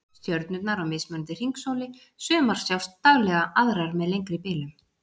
Stjörnurnar á mismunandi hringsóli, sumar sjást daglega, aðrar með lengri bilum